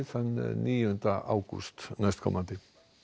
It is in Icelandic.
þann níunda ágúst næstkomandi